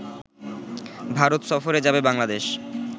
ভারত সফরে যাবে বাংলাদেশ